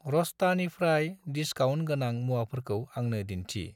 र'स्तानिफ्राय discount गोनां मुवाफोरखौ आंनो दिन्थि।